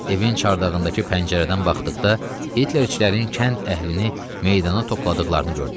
Evin çardağındakı pəncərədən baxdıqda, Hitlerçilərin kənd əhlini meydana topladıqlarını gördü.